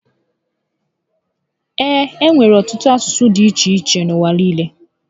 E nwere ọtụtụ asụsụ dị iche iche n'ụwa niile